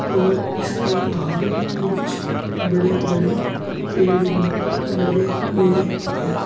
और इसके बाहर कुछ बड़े बड़े पेड़ भी लगे हुए है।